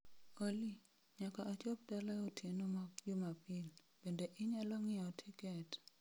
Olly, nyaka achop tala e otieno ma jumapil, bende inyalo ng'iewo tiket